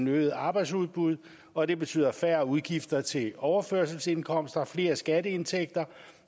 øget arbejdsudbud og det betyder færre udgifter til overførselsindkomster flere skatteindtægter